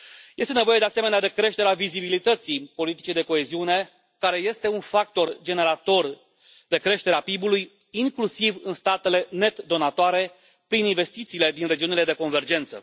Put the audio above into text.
Este nevoie, de asemenea, de creșterea vizibilității politicii de coeziune, care este un factor generator de creștere a PIB ului, inclusiv în statele net donatoare, prin investițiile din regiunile de convergență.